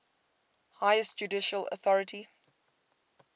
highest judicial authority